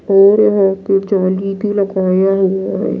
और यहां पे जाली लगाया हुआ है।